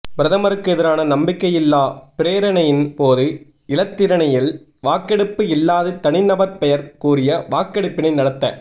பிரதமருக்கு எதிரான நம்பிக்கையில்லா பிரேரணையின் போது இலத்திரனியல் வாக்கெடுப்பு இல்லாது தனி நபர் பெயர் கூறிய வாக்கெடுப்பினை நடத்த